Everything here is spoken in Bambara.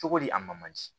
Cogodi a ma di